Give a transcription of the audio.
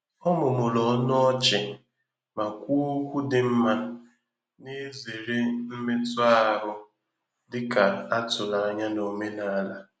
Ọ mụmụrụ ọnụ ọchị ma kwuo okwu dị mma, na-ezere mmetụ ahụ dị ka a tụrụ anya na omenala.